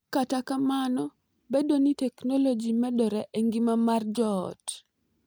Kata kamano, bedo ni teknoloji medore e ngima mar joot .